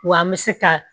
Wa an bɛ se ka